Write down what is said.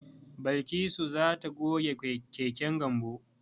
Balkisu za ta goge keken Gambo.